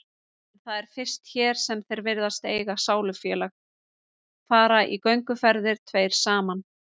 En það er fyrst hér sem þeir virðast eiga sálufélag, fara í gönguferðir tveir saman